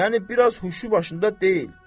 Yəni biraz huşu başında deyil.